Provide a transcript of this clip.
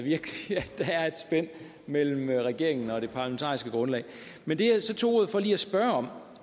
der er et spænd mellem regeringen og det parlamentariske grundlag men det jeg så tog ordet for lige at spørge